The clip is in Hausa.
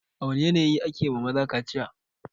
A wane yanayi ne ake wa maza kaciya?